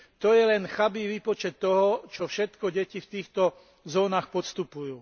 To je len chabý výpočet toho, čo všetko deti vtýchto zónach podstupujú.